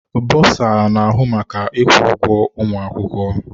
Bursar na-ahụ maka ịkwụ ụgwọ ụmụ akwụkwọ.